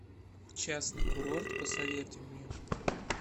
частный курорт посоветуй мне